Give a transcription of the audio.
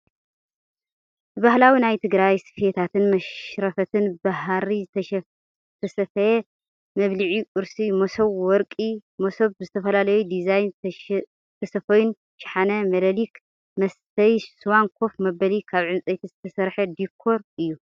ብባህላዊ ናይ ትግራይ ስፈታትን መሽረፈትን ብሃሪ ዝተሰፈየ መብሊዒ ቁርስ መሶብ፣ ወርቂ መሶብ ብዝተፈላለዩ ዲዛይን ዝተሰፈዩን ሻሃነ/መለሊክ/ መስተይ ስዋን ኮፍ መበሊ ካብ ዕንፀይቲ ዝተሰረሓ ዲኮር እዩ።